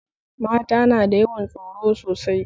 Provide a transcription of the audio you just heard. Mata na da yawan tsoro sosai